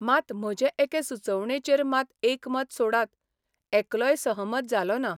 मात म्हजे एके सुचोवणेचेर मात एकमत सोडात, एकलोय सहमत जालो ना.